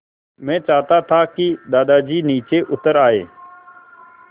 मैं चाहता था कि दादाजी नीचे उतर आएँ